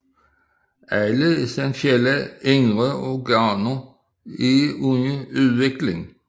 Alle essentielle indre organer er under udvikling